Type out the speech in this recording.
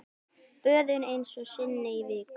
Böðun einu sinni í viku!